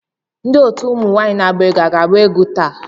ndị otu ụmụ nwanyị na-agba egwu aga-agba egwu taa